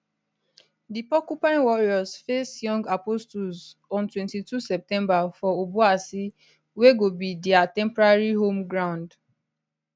di porcupine warriors face young apostles on 22 september for obuasi wey go be dia temporary home ground